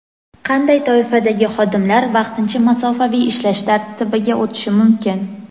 Qanday toifadagi xodimlar vaqtincha masofaviy ishlash tartibiga o‘tishi mumkin?.